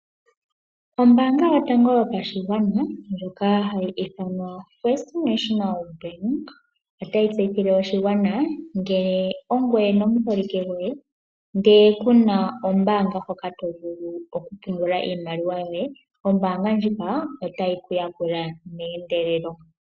Ombaanga yotango yopashigwana ndjoka hayi ithanwa FNB, otayi tseyithile oshigwana ngele ongweye nomuholike goye ndele kuna oombanga mpoka tovulu okupungula iimaliwa yoye, oombanga ndjika otayi ku yakula meendelelo.